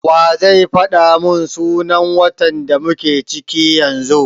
Wa zai faɗa mun sunan watan da muke ciki yanzu?